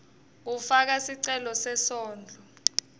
kufaka sicelo sesondlo